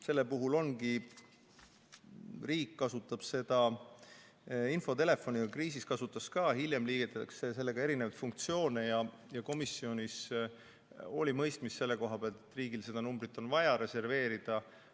Selle puhul ongi nii, et riik kasutab seda infotelefoni, kriisis kasutas ka, ja hiljem liidetakse sellega erinevaid funktsioone ning komisjonis me mõistsime, et riigil on vaja see number reserveerida.